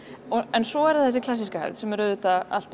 en svo er það þessi klassíska hefð sem er auðvitað alltaf